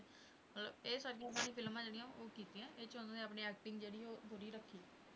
ਅਹ ਇਹ ਸਾਰੀਆਂ ਫਿਲਮਾਂ ਜਿਹੜੀਆਂ ਉਹ ਕੀਤੀਆਂ ਇਹ 'ਚ ਉਹਨਾਂ ਨੇ ਆਪਣੀ acting ਜਿਹੜੀ ਆ ਉਹ ਜ਼ਾਰੀ ਰੱਖੀ।